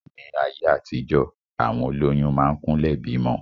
Ní ayé àtijọ, àwọn olóyún máa ń kúnlẹ̀ bímọ.